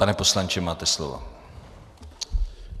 Pane poslanče, máte slovo.